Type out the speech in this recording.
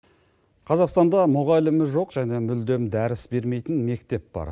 қазақстанда мұғалімі жоқ және мүлдем дәріс бермейтін мектеп бар